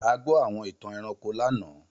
A gbọ́ àwọn ìtàn ẹranko lánàá.